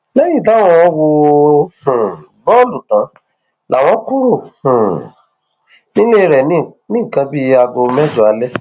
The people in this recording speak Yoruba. lẹyìn táwọn wo um bọọlù náà tán láwọn kúrò um nílé rẹ ní nǹkan bíi aago mẹjọ alẹ